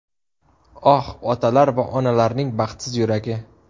Oh, otalar va onalarning baxtsiz yuragi!